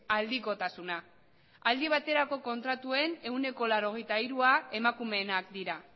aldikotasuna aldi baterako kontratuen ehuneko laurogeita hirua emakumeenak dira